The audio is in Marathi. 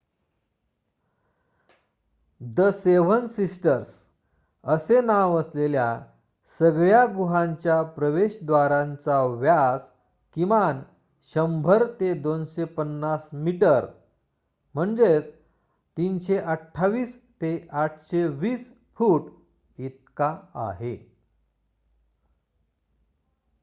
"""द सेव्हन सिस्टर्स" असे नाव असलेल्या सगळ्या गुहांच्या प्रवेशद्वारांचा व्यास किमान १०० ते २५० मीटर ३२८ ते ८२० फूट इतका आहे.